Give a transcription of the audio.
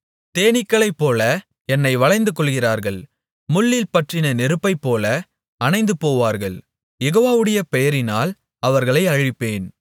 தேனீக்களைப்போல என்னை வளைந்துகொள்ளுகிறார்கள் முள்ளில் பற்றின நெருப்பைப்போல அணைந்து போவார்கள் யெகோவாவுடைய பெயரினால் அவர்களை அழிப்பேன்